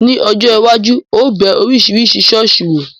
Ní ọjọ́ iwájú, ó bẹ Oríṣiríṣi ṣọ̀ọ́sì wò.